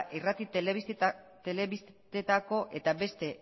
irrati telebistetako eta beste